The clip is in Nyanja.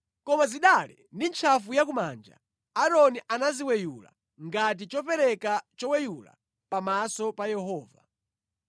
Koma zidale ndi ntchafu ya kumanja Aaroni anaziweyula ngati chopereka choweyula pamaso pa Yehova.